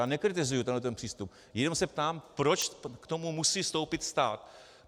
Já nekritizuji tenhle ten přístup, jenom se ptám, proč k tomu musí vstoupit stát.